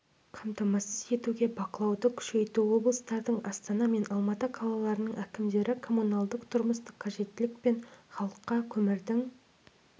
қамтамасыз етуге бақылауды күшейту облыстардың астана мен алматы қалаларының әкімдері коммуналдық-тұрмыстық қажеттілік пен халыққа көмірдің